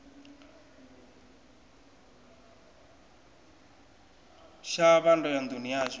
shavha ndo ya nduni yashu